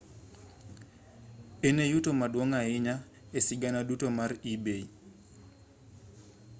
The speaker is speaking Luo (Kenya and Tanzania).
en e yuto maduong' ahinya e sigana duto mar ebay